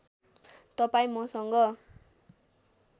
तपाईँ मसँग